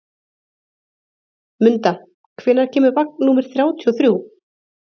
Munda, hvenær kemur vagn númer þrjátíu og þrjú?